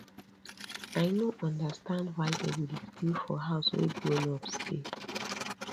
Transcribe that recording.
i no understand why dey go dey steal for house wey grownups dey